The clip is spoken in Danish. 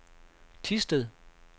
Thisted